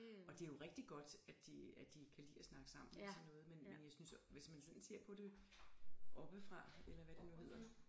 Og det jo rigtig godt at de at de kan lide at snakke sammen og sådan noget men men jeg synes hvis man sådan ser det oppefra eller hvad det nu hedder